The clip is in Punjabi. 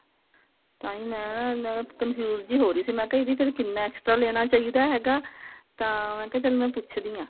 ਤਾਹੀਂ ਮੈਂ ਨਾ ਮੈਂ ਨਾ confuse ਜੀ ਹੋ ਰਹੀ ਸੀ ਮੈਂ ਕਿਹਾ ਇਹਦੀ ਫੇਰ ਕਿੰਨਾ extra ਲੈਣਾ ਚਾਹਿਦਾ ਹੈਗਾ ਤਾਂ ਮੈਂ ਕਿਹਾ ਚੱਲ ਮੈਂ ਪੁੱਛ ਦੀ ਆਂ